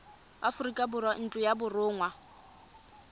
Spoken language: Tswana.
aforika borwa ntlo ya borongwa